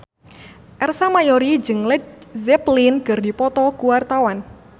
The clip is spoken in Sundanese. Ersa Mayori jeung Led Zeppelin keur dipoto ku wartawan